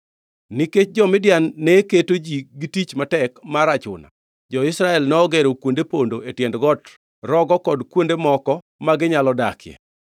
Nikech jo-Midian ne keto ji gi tich matek mar achuna, jo-Israel nogero kuonde pondo e tiend got, rogo kod kuonde moko ma ginyalo dakie.